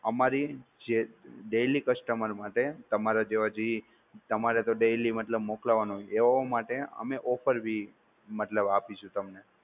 અમારી જે Daily customer માટે તમારા જેવા જી તમારે તો daily મતલબ મોકલવાનો એવો માટે અમે offer ભી મતલબ આપીશું તમને